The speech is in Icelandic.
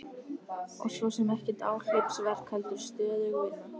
Og svo sem ekkert áhlaupsverk heldur stöðug vinna.